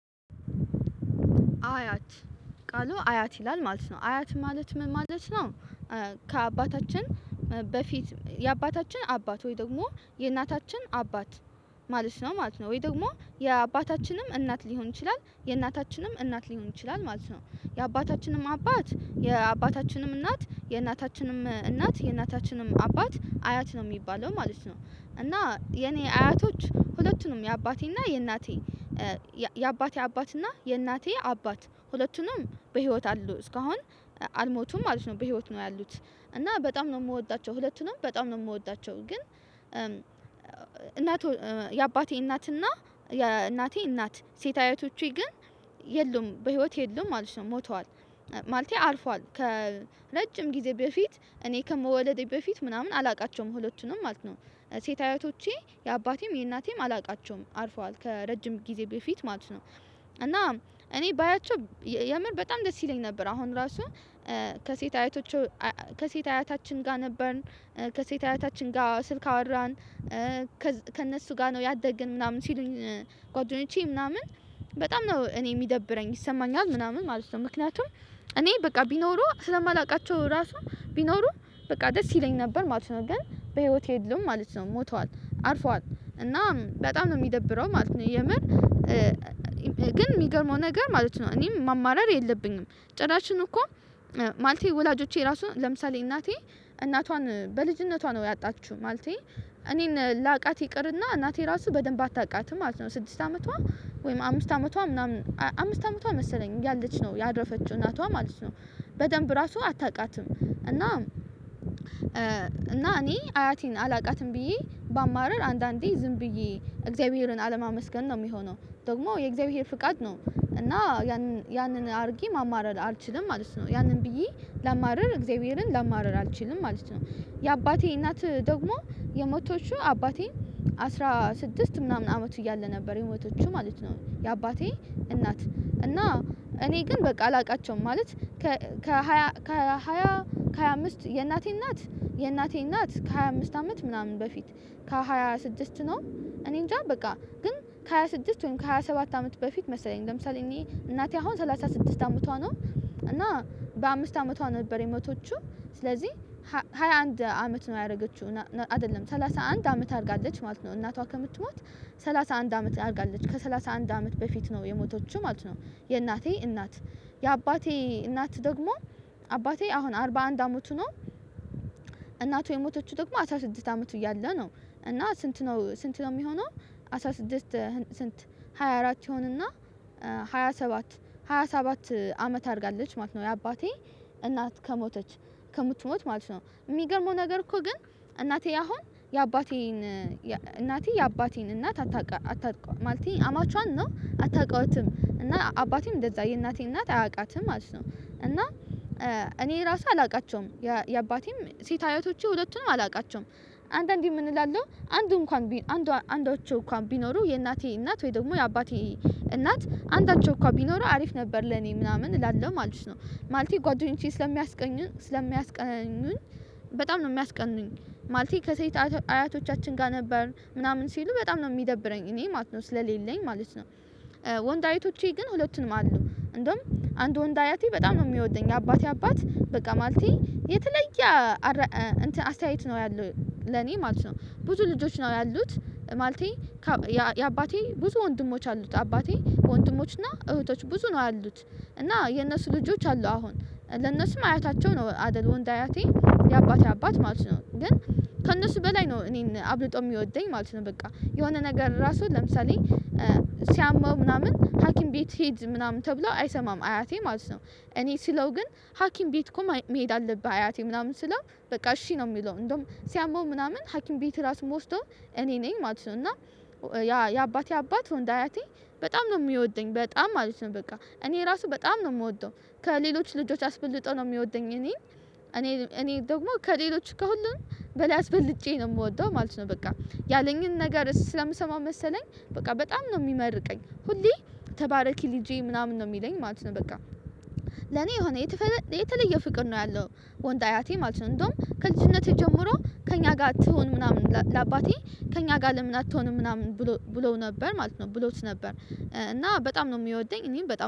አያት ቃሉ አያት ይላል ማለት ነው አያት ማለት ምን ማለት ነው። ከአባታችን በፊት የአባታችን አባት ወይ ደግሞ የእናታችን አባት። ማለት ነው ማለት ነው ወይ ደግሞ የአባታችንም እናት ሊሆን ይችላል የእናታችንም እናት ሊሆን ይችላል ማለት ነው። የአባታችንም አባት የአባታችንም እናት የእናታችንም እናት የእናታችንም አባት አያት ነው የሚባለው ማለት ነው። እና የኔ አያቶች ሁለቱም የአባቴና የእናቴ። የአባቴ አባትና የእናቴ አባት ሁለቱንም በህይወት አሉ እስካሁን አልሞቱም ማለት ነው በህይወት ነው ያሉት። እና በጣም ነው የምወዳቸው ሁለቱንም በጣም ነው የምወዳቸው። ግን የአባቴ እናትና የእናቴ እናት ሴት አያቶቸ ግን የሉም በህይወት የሉም ማለት ነው ሞተዋል። ማለቴ አልፏል ከረጅም ጊዜ በፊት እኔ ከመወለዴ በፊት ምናምን አላውቃቸውም ሁለቱንም ማለት ነው። ሴት አያቶቸ የአባቴም የእናቴም አላውቃቸውም አርፈዋል ከረጅም ጊዜ በፊት ማለት ነው። እና እኔ ባያቸው የምር በጣም ደስ ይለኝ ነበር። አሁን ራሱ ከሴት አያቶቹ ከሴት አያታችን ጋር ነበርን ከሴት አያታችን ጋር ስልክ አወራን። ከእነሱ ጋር ነው ያደግን ምናምን ሲሉኝ ጓደኞቼ ምናምን በጣም ነው እኔ የሚደብረኝ ይሰማኛል ምናምን ማለት ነው። ምክንያቱም እኔ በቃ ቢኖሩ ስለማላውቃቸው ራሱ ቢኖሩ በቃ ደስ ይለኝ ነበር ማለት ነው። ግን በህይወት የሉም ማለት ነው ሞተዋል አርፈዋል እና በጣም ነው የሚደብረው ማለት ነው። የምር ግን የሚገርመው ነገር ማለት ነው እኔም ማማረር የለብኝም። ጭራሽን እኮ ማለቴ ወላጆቼ ራሱ ለምሳሌ እናቴ እናቷን በልጅነቷ ነው ያጣችው ማለቴ። እኔን ላቃት ይቅርና እናቴ ራሱ በደንብ አታቃትም ማለት ነው። ስድስት አመቷ ወይም አምስት አመቷ ምናምን አምስት አመቷ መሰለኝ እያለች ነው ያረፈችው እናቷ ማለት ነው። በደንብ ራሱ አታውቃትም እና እና እኔ አያቴን አላውቃትም ብዬ በማርር አንዳንዴ ዝም ብዬ እግዚአብሔርን አለማመስገን ነው የሚሆነው። ደግሞ የእግዚአብሔር ፍቃድ ነው እና ያንን ያንን አድርጌ ማማረር አልችልም ማለት ነው። ያንን ብዬ ለማርር እግዚአብሔርን ለማርር አልችልም ማለት ነው። የአባቴ እናት ደግሞ የሞተችው አባቴን አስራ ስድስት ምናምን አመት እያለ ነበር የሞተችው ማለት ነው። የአባቴ እናት እና እኔ ግን በቃ አላውቃቸውም ማለት። ከሃያ ከሃያ አምስት የእናቴ እናት የእናቴ እናት ከሃያ አምስት አመት ምናምን በፊት ከሃያ ስድስት ነው እኔንጃ በቃ ግን ከሃያ ስድስት ወይም ከሃያ ሰባት አመት በፊት መሰለኝ ለምሳሌ እኔ እናቴ አሁን ሰላሳ ስድስት አመቷ ነው። እና በአምስት አመቷ ነበር የሞተችው። ስለዚህ ሃያ አንድ አንድ አመት ነው ያደረገችው አይደለም ሰላሳ አንድ አመት አድርጋለች ማለት ነው እናቷ ከምትማት ሰላሳ አንድ አመት አድርጋለች ከሠላሳ አንድ አመት በፊት ነው የሞተችው ማለት ነው። የእናቴ እናት የአባቴ እናት ደግሞ አባቴ አሁን አርባ አንድ አመቱ ነው። እናቱ የሞተችው ደግሞ አስራ ስድስት አመት እያለ ነው። እና ስንት ነው ስንት ነው የሚሆነው? አስራ ስድስት ስንት ሃያ አራት የሆንና ሃያ ሰባት ሃያ ሰባት አመት አድርጋለች ማለት ነው። የአባቴ እናት ከሞተች ከምትሞት ማለት ነው የሚገርመው ነገር እኮ ግን። እናቴ አሁን የአባቴን እናቴ የአባቴን እናት አታውቅም ማለት ነው አማቿን አታውቀውም እና አባቴም እንደዛ የእናቴ እናት አያውቃትም ማለት ነው። እና እኔ ራሴ አላውቃቸውም። የአባቴም ሴት አያቶቼ ሁለቱንም አላውቃቸውም። አንዳዴ ምንላለው አንዱ እንኳን አንዳቸው እንኳን ቢኖሩ የእናቴ እናት ወይ ደግሞ የአባቴ እናት አንዳቸው እንኳን ቢኖሩ አሪፍ ነበር ለኔ ምናምን እላለሁ ማለት ነው። ማለቴ ጓደኞቼ ስለሚያስቀኑኝ ስለሚያስቀኑኝ በጣም ነው የሚያስቀኑኝ ማለቴ ከሴት አያቶቻችን ጋር ነበርን ምናምን ሲሉ በጣም ነው የሚደብረኝ እኔ ማለት ነው ስለሌለኝ ማለት ነው። ወንድ አያቶቸ ግን ሁለቱንም አሉ እንደውም አንዱ ወንዱ አያቴ በጣም ነው የሚወደኝ ያባቴ አባት በቃ ማለቴ የተለየ። አስተያየት ነው ያለው ለኔ ማለት ነው ብዙ ልጆች ነው ያሉት ማለቴ። የአባቴ ብዙ ወንድሞች አሉት አባቴ ወንድሞች እና እህቶች ብዙ ነው ያሉት። እና የእነሱ ልጆች አሉ አሁን ለእነሱም አያታቸው ነው አይደል? ወንድ አያቴ የአባቴ አባት ማለት ነው ግን ከእነሱ በላይ ነው እኔን አብልጦ የሚወደኝ ማለት ነው። በቃ የሆነ ነገር ራሱ ለምሳሌ። ሲያመው ምናምን ሀኪም ቤት ሄድ ምናምን ተብሎ አይሰማም አያቴ ማለት ነው። እኔ ሲለው ግን ሀኪም ቤት እኮ መሄድ አለብህ አያቴ ምናምን ስለው በቃ እሺ ነው የሚለው። እንደውም ሲያመው ምናምን ሀኪም ቤት ራሱ የምወስደው እኔ ነኝ ማለት ነው። እና ያ የአባቴ አባት ወንዱ አያቴ። በጣም ነው የሚወደኝ በጣም ማለት ነው በቃ እኔ ራሱ በጣም ነው የምወደው። ከሌሎች ልጆች አስበልጦ ነው የሚወደኝ እኔ እኔ እኔ ደግሞ ከሌሎች ከሁሉም በላይ አስበልጬ ነው የምወደው ማለት ነው። በቃ ያለኝን ነገር ስለምሰማው መሰለኝ በቃ በጣም ነው የሚመርቀኝ ሁሌ ተባረኪ ልጄ ምናምን ነው የሚለኝ ማለት ነው። በቃ ለኔ የሆነ የተለየ ፍቅር ነው ያለው። ወንድ አያቴ ማለት ነው። እንደውም ከልጅነቴ ጀምሮ ከእኛ ጋር ትሁን ምናምን ለአባቴ ከእኛ ጋር ለምን አትሆንም ምናምን? ብሎ ብለው ነበር ማለት ነው ብሎት ነበር። እና በጣም ነው የሚወደኝ እኔም በጣም